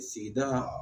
Sigida